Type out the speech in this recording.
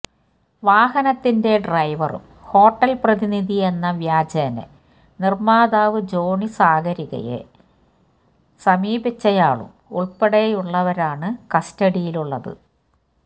വാഹനത്തിന്റെ ഡ്രൈവറും ഹോട്ടൽ പ്രതിനിധി എന്ന വ്യാജേന നിർമ്മാതാവ് ജോണി സാഗരികയെ സമീപിച്ചയാളും ഉൾപ്പെടെയുള്ളവരാണു കസ്റ്റഡിയിലുള്ളത്